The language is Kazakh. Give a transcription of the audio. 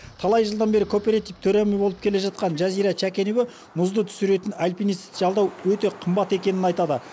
талай жылдан бері кооператив төрайымы болып келе жатқан жазира шәкенова мұзды түсіретін альпинисті жалдау өте қымбат екенін айтады